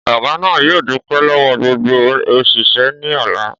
Ọ̀gá náà yóò dúpẹ́ lọ́wọ́ gbogbo òṣìṣẹ́ ní ọ̀la